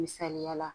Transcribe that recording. Misaliyala